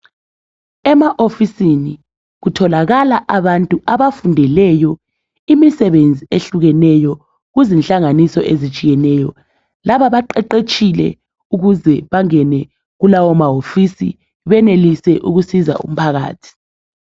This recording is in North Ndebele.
Emaofisini kutholakala abantu abafundeleyo imisebenzi ehlukeneyo kuzinhlanganiso ezitshiyeneyo. Laba baqeqetshile ukuze bangene kulawo mawofisi benelise ukusiza umphakathi.